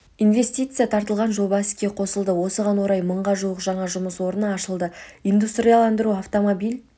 инвестиция тартылған жоба іске қосылды осыған орай мыңға жуық жаңа жұмыс орны ашылды индустрияландыру автомобиль